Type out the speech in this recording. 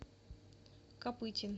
копытин